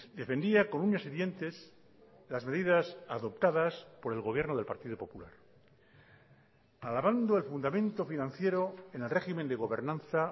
defendía con uñas y dientes las medidas adoptadas por el gobierno del partido popular alabando el fundamento financiero en el régimen de gobernanza